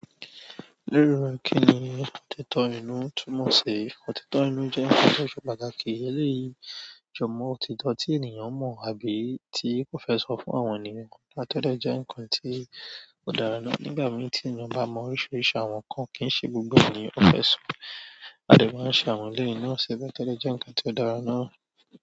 Lero ẹ̀ kí ni òtítọ́ inú, Túnmọ̀sii. Òtítọ́ inú jẹ́ ohùn to ṣe pàtàkì eléyìí jọ mọ́ òtítọ́ tí ènìyàn mọ̀ àbí tí ò fẹ́ sọ fún àwọn ènìyàn. To dé jẹ́ ǹnkan tí ó dára ná. Nígbà mìí tí ènìyàn bá mọ oríṣiríṣi àwọn nǹkan kìí ṣe gbogbo ènìyàn ni ó fẹ́ sọ, a dè máa ṣe àwọn eléyìí náà ṣe bẹ́ẹ̀ to de jẹ́ ǹnkan tí ó dára náà.